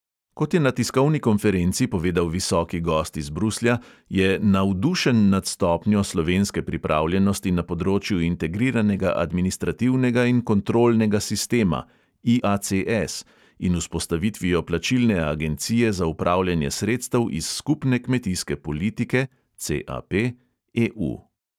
Kot je na tiskovni konferenci povedal visoki gost iz bruslja, je "navdušen nad stopnjo slovenske pripravljenosti na področju integriranega administrativnega in kontrolnega sistema in vzpostavitvijo plačilne agencije za upravljanje sredstev iz skupne kmetijske politike EU".